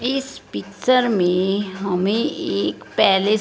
इस पिक्चर में हमें एक पैलेस --